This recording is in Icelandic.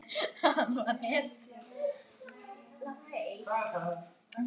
Hann var hetja.